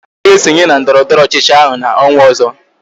Chike ga-esonye na ndọrọndọrọ ọchịchị ahụ n'ọnwa ọzọ